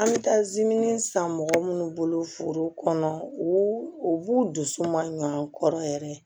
An bɛ taa san mɔgɔ minnu bolo foro kɔnɔ u b'u dusu mankɔrɔ yɛrɛ